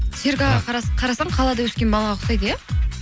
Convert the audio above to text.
серік аға қарасаң қалада өскен балаға ұқсайды иә